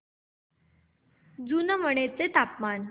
जुनवणे चे तापमान